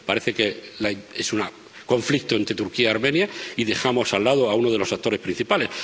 parece que es un conflicto entre Turquía y Armenia y dejamos al lado a uno de los actores principales.